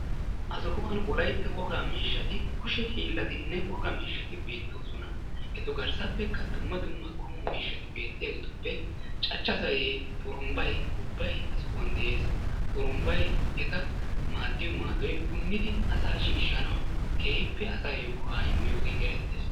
Ha sohuwan wolaytta wogaa miishshati kushe hiilatinne wogaa miishshati beettoosona. Etu garssappekka dumma dumma qommo miishshati beettiyageetuppe cachcha zayyee, xurunbbay, ubbay ha sohuwan dees. xurunbbay eta maaddiyo maaddoy punniidi asaa shiishanawu keehippe asayo go'aa immiyogee erettees.